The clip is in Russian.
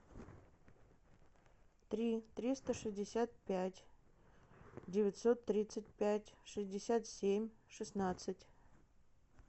три триста шестьдесят пять девятьсот тридцать пять шестьдесят семь шестнадцать